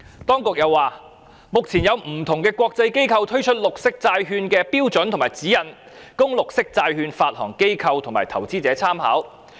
當局又稱，目前有不同的國際機構推出綠色債券的標準和指引，供綠色債券發行機構及投資者參考。